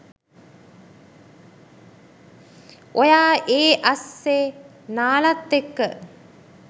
ඔයා ඒ අස්සෙ නාලත් එක්ක